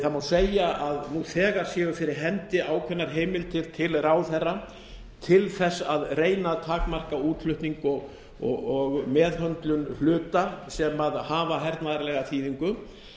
það má segja að nú þegar séu fyrir hendi ákveðnar heimildir til ráðherra til að reyna að takmarka útflutning og meðhöndlun hluta sem hafa hernaðarlega þýðingu